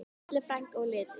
Falleg frænka og litrík.